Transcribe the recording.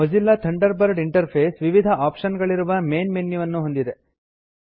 Mozilla Thunderbird interface ವಿವಿಧ option ಗಳಿರುವ main ಮೆನ್ಯುವನ್ನು ಹೊಂದಿದೆ